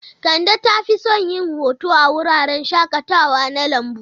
Kande ta fi son yin hoto a wuraren shakatawa na lambu.